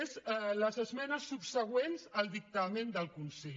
és les esmenes subsegüents al dictamen del consell